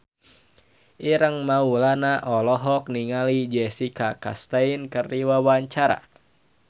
Ireng Maulana olohok ningali Jessica Chastain keur diwawancara